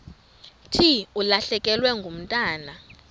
thi ulahlekelwe ngumntwana